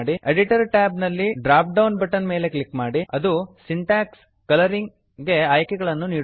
editor tab ನಲ್ಲಿ dropdown button drop down button ಮೇಲೆ click ಮಾಡಿ ಅದು ಸಿಂಟಾಕ್ಸ್ ಕಲರಿಂಗ್ ಸಿಂಟೆಕ್ಸ್ ಕಲರಿಂಗ್ ಗೆ ಆಯ್ಕೆಗಳನ್ನು ನೀಡುತ್ತದೆ